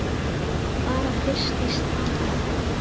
Bara fyrst í stað.